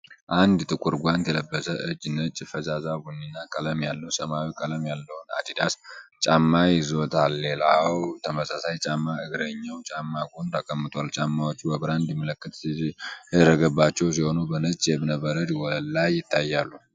አንድ ጥቁር ጓንት የለበሰ እጅ ነጭ፣ ፈዛዛ ቡኒ እና ቀለል ያለ ሰማያዊ ቀለም ያለውን አዲዳስ ጫማ ይዞታል። ሌላው ተመሳሳይ ጫማ እግረኛው ጫማ ጎን ተቀምጧል። ጫማዎቹ በብራንድ ምልክት የተደረገባቸው ሲሆኑ፣ በነጭ የእብነበረድ ወለል ላይ ይታያሉ።